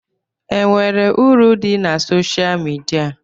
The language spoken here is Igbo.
E nwere uru dị na soshal midia?